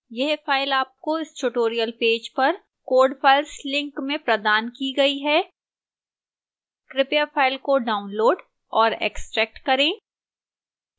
यह file आपको इस tutorial पेज पर code files link में प्रदान की गई है कृपया file को डाउनलोड और एक्स्ट्रैक्ट करें